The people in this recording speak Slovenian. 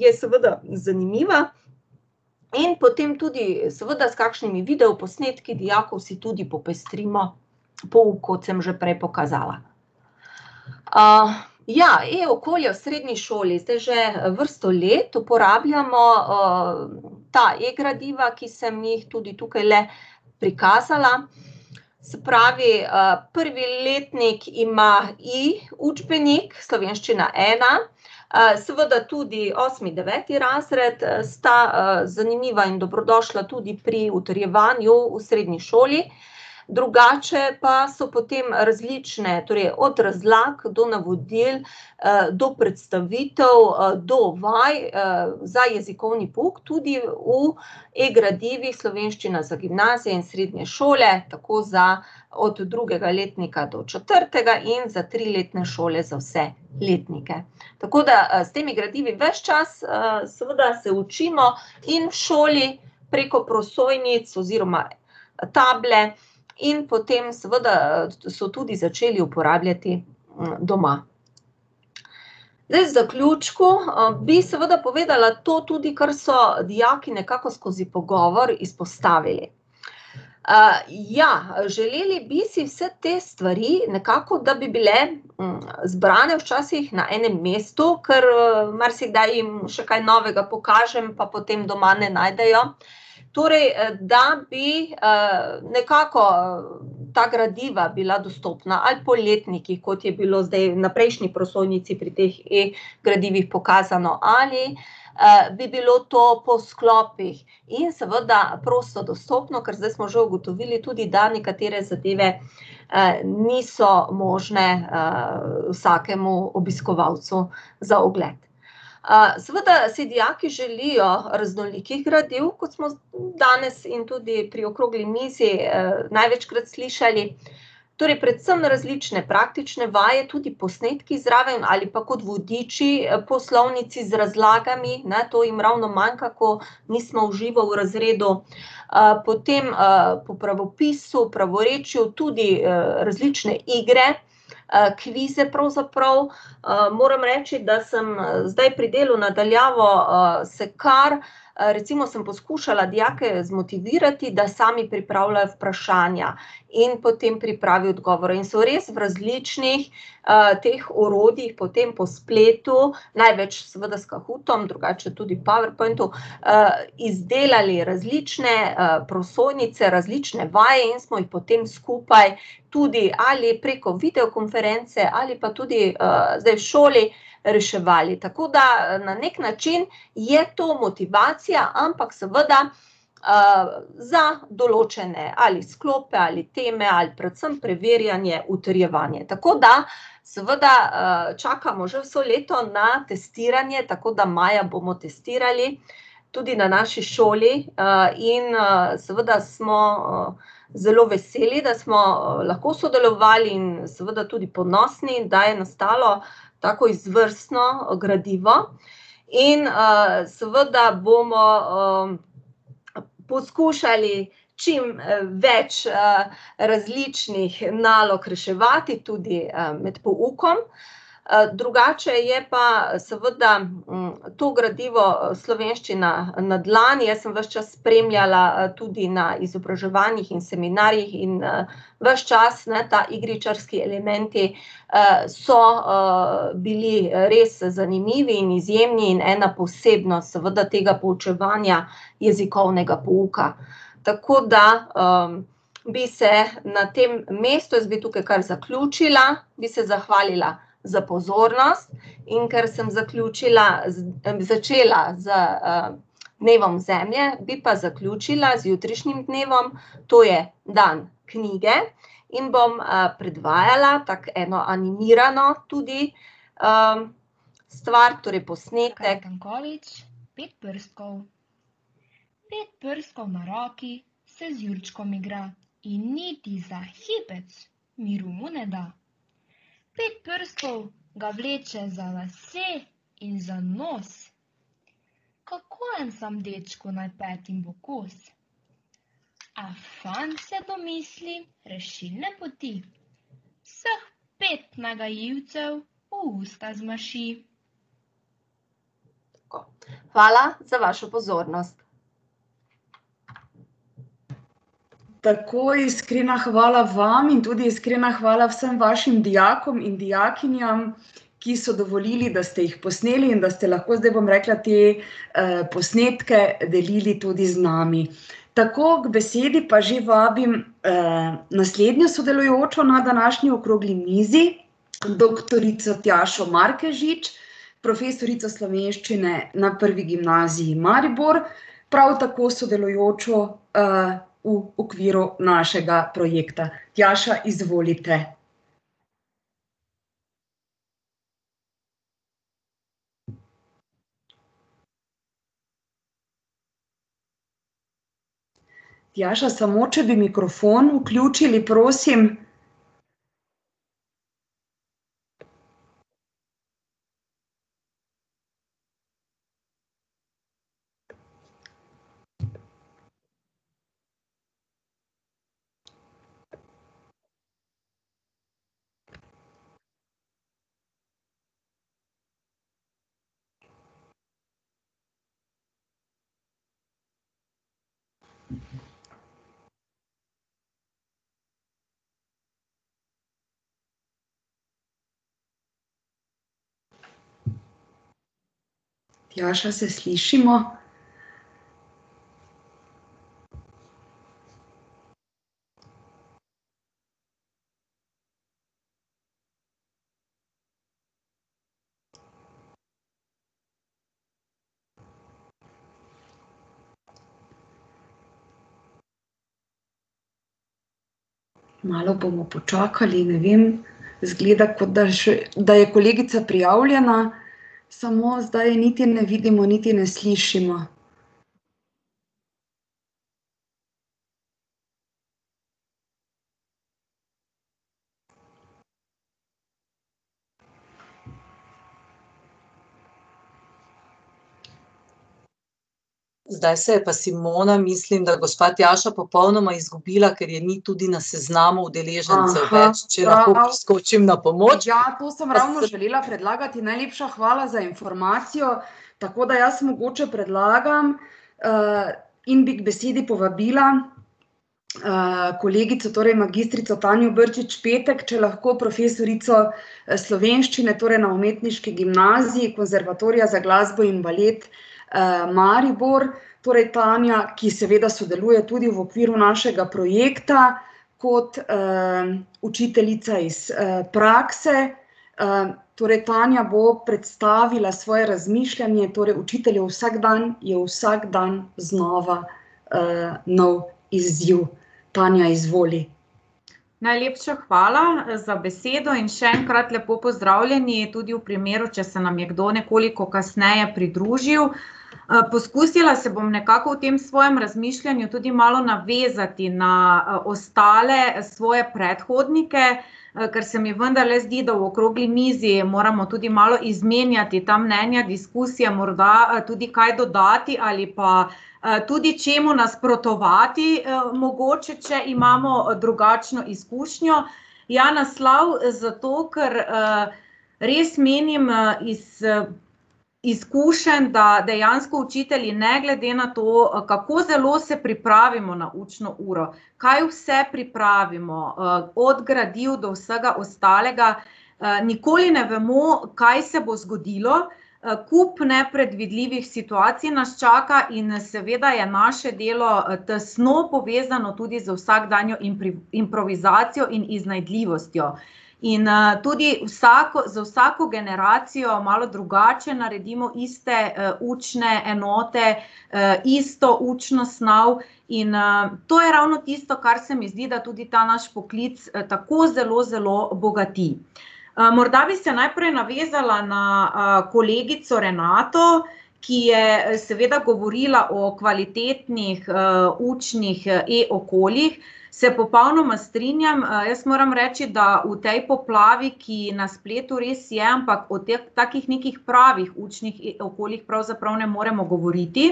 je seveda zanimiva. In potem tudi seveda s kakšnimi videoposnetki dijakov si tudi popestrimo pouk, kot sem že prej pokazala. ja, e-okolje v srednji šoli, zdaj že vrsto let uporabljamo, ta e-gradiva, ki sem jih tudi tukajle prikazala. Se pravi, prvi letnik ima e-učbenik, Slovenščina ena, seveda tudi osmi, deveti razred, sta, zanimiva in dobrodošla tudi pri utrjevanju v srednji šoli. Drugače pa so potem različne, torej od razlag do navodil, do predstavitev, do vaj, za jezikovni pouk tudi v e-gradivih Slovenščina za gimnazije in srednje šole, tako za od drugega letnika do četrtega in za triletne šole za vse letnike. Tako da, s temi gradivi ves čas, seveda se učimo in v šoli preko prosojnic oziroma table in potem seveda so tudi začeli uporabljati, doma. Zdaj v zaključku, bi seveda povedala to tudi, kar so dijaki nekako skozi pogovor izpostavili. ja, želeli bi si vse te stvari nekako, da bi bile zbrane včasih na enem mestu, ker, marsikdaj jim še kaj novega pokažem, pa potem ne najdejo, torej, da bi, nekako, ta gradiva bila dostopna ali po letnikih, kot je bilo zdaj na prejšnji prosojnici pri teh e-gradivih pokazano, ali, bi bilo to po sklopih. In seveda prosto dostopno, ker zdaj smo že ugotovili tudi, da nekatere zadeve, niso možne, vsakemu obiskovalcu za ogled. seveda si dijaki želijo raznolikih gradiv, kot smo danes in tudi pri okrogli, največkrat slišali, torej predvsem različne praktične vaje, tudi posnetki zraven ali pa kot vodiči po slovnici z razlagami, ne, to jim ravno manjka, ko nismo v živo v razredu. potem, po pravopisu, pravorečju, tudi, različne igre, kvize pravzaprav, moram reči, da sem zdaj pri delu na daljavo se kar ... recimo sem poskušala dijake zmotivirati, da sami pripravljajo vprašanja in potem pripravi odgovore, in so res v različnih, teh orodjih potem po spletu, največ seveda s Cahootom, drugače tudi v Powerpointu, izdelali različne, prosojnice, različne vaje in smo jih potem skupaj tudi ali preko videokonference ali pa tudi, zdaj v šoli reševali. Tako da na neki način je to motivacija, ampak seveda, za določene, ali sklope ali teme ali predvsem preverjanje utrjevanja. Tako da seveda, čakamo že vso leto na testiranje, tako da maja bomo testirali tudi na naši šoli, in, seveda smo, zelo veseli, da smo lahko sodelovali, in seveda tudi ponosni, da je nastalo tako izvrstno gradivo. In, seveda bomo, poskušali čim, več, različnih nalog reševati, tudi, med poukom, drugače je pa seveda, to gradivo, Slovenščina na dlani, jaz sem ves čas spremljala, tudi na izobraževanjih in seminarjih in, ves čas, ne, ta igričarski elementi, so, bili res zanimivi in izjemni in ena posebnost seveda tega poučevanja jezikovnega pouka. Tako da, bi se na tem mestu, zdaj tukaj kar zaključila, bi se zahvalila za pozornost. In ker sem zaključila začela z, dnevom zemlje, bi pa zaključila z jutrišnjim dnevom, to je dan knjige. In bom, predvajala tako eno animirano tudi, stvar, torej posnetek. Tako. Hvala za vašo pozornost. Tako, iskrena hvala vam in tudi iskrena hvala vsem vašim dijakom in dijakinjam, ki so dovolili, da ste jih posneli, in da ste lahko zdaj, bom rekla, te, posnetke delili tudi z nami. Tako, kot besedi pa že vabim, naslednjo sodelujočo na današnji okrogli mizi, doktorico Tjašo Markežič, profesorico slovenščine na Prvi gimnaziji Maribor, prav tako sodelujočo, v okviru našega projekta. Tjaša, izvolite. Tjaša, samo če bi mikrofon vključili, prosim. Tjaša, se slišimo? Malo bomo počakali, ne vem, izgleda, kot da še, da je kolegica prijavljena, samo zdaj niti ne vidimo niti ne slišimo. Ja, to sem ravno želela predlagati, najlepša hvala za informacijo. Tako da jaz mogoče predlagam, in bi ko besedi povabila, kolegico, torej magistrico Tanjo Brčič Petek, če lahko, profesorico, slovenščine, torej na Umetniški gimnaziji Konservatorija za glasbo in balet, Maribor. Torej Tanja, ki seveda sodeluje tudi v okviru našega projekta kot, učiteljica iz, prakse. torej Tanja bo predstavila svoje razmišljanje, torej učiteljev vsakdan je vsak dan znova, nov izziv. Tanja, izvoli. Najlepša hvala za besedo in še enkrat lepo pozdravljeni, tudi v primeru, če se nam je kdo nekoliko kasneje pridružil. poskusila se bom nekako v tem svojem razmišljanju tudi malo navezati na, ostale svoje predhodnike, ker se mi vendarle zdi, da v okrogli mizi moramo tudi malo izmenjati ta mnenja, diskusije, morda tudi kaj dodati ali pa, tudi čemu nasprotovati, mogoče, če imamo drugačno izkušnjo. Ja, naslov zato, ker, res menim, iz, izkušenj, da dejansko učitelji ne glede na to, kako zelo se pripravimo na učno uro, kaj vse pripravimo, od gradiv do vsega ostalega, nikoli ne vemo, kaj se bo zgodilo, kup nepredvidljivih situacij nas čaka in, seveda je naše delo tesno povezano tudi z vsakdanjo improvizacijo in iznajdljivostjo. In, tudi vsako, za vsako generacijo malo drugače naredimo iste, učne enote, isto učno snov in, to je ravno tisto, kar se mi zdi, da tudi ta naš poklic tako zelo zelo bogati. morda bi se najprej navezala na, kolegico Renato, ki je seveda govorila o kvalitetnih, učnih e-okoljih, se popolnoma strinjam, jaz moram reči, da v tej poplavi, ki na spletu res je, ampak o takih nekih pravih učnih e-okoljih pravzaprav ne moremo govoriti.